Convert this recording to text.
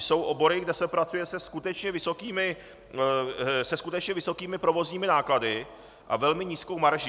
Jsou obory, kde se pracuje se skutečně vysokými provozními náklady a velmi nízkou marží.